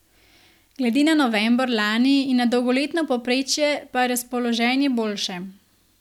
Glede na november lani in na dolgoletno povprečje pa je razpoloženje boljše.